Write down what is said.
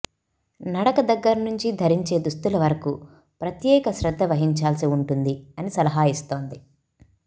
నడక దగ్గర నుంచి ధరించే దుస్తుల వరకు ప్రత్యేక శ్రద్ధ వహించాల్సి ఉంటుంది అని సలహా ఇస్తోంది